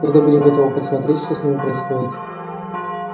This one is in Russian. когда будем готовы подсмотреть что с ними происходит